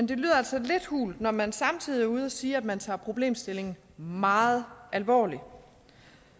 det lyder altså lidt hult når man samtidig er ude at sige at man tager problemstillingen meget alvorligt